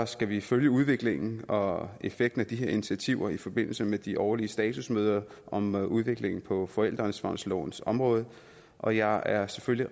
skal vi følge udviklingen og effekten af de her initiativer i forbindelse med de årlige statusmøder om udviklingen på forældreansvarslovens område og jeg er selvfølgelig